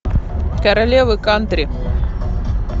королевы кантри